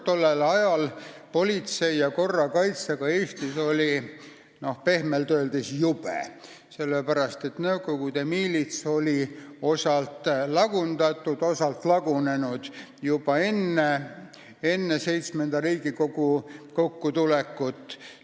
Tollel ajal oli politsei ja korrakaitse olukord Eestis pehmelt öeldes jube, sest Nõukogude miilits oli osalt lagundatud, osalt lagunenud juba enne VII Riigikogu kokkutulekut.